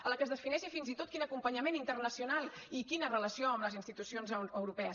en la qual es defineixi fins i tot quin acompanyament internacional i quina relació amb les institucions europees